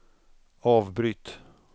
avbryt